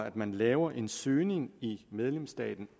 at man laver en søgning i medlemsstaten